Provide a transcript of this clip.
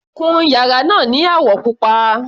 Kun yàrá náà ni àwọ̀ pupa.